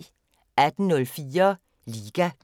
18:04: LIGA